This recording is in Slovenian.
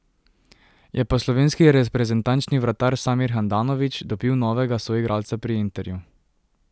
Je pa slovenski reprezentančni vratar Samir Handanović dobil novega soigralca pri Interju.